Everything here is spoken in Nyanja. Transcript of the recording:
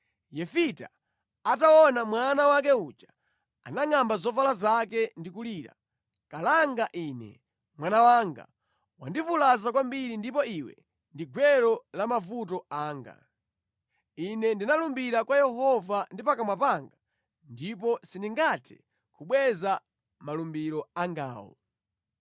Yefita ataona mwana wake uja, anangʼamba zovala zake ndi kulira, “Kalanga ine! Mwana wanga! Wandivulaza kwambiri ndipo iwe ndi gwero la mavuto anga. Ine ndinalumbira kwa Yehova ndi pakamwa pangapa ndipo sindingathe kubweza malumbiro angawo.”